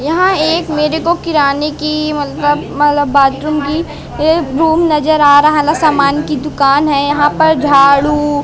यहां एक मेरे को किराने की मतलब मतलब बाथरूम की रूम नजर आ रहा है ना सामान की दुकान है यहां पर झाड़ू--